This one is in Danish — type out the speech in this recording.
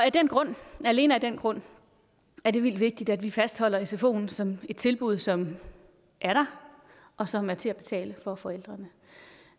af den grund alene af den grund er det vildt vigtigt at vi fastholder sfoen som et tilbud som er der og som er til at betale for forældrene